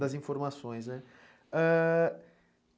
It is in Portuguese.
Das informações, né? ãh...